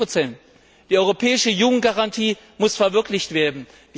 40 Die europäische Jugendgarantie muss verwirklicht werden.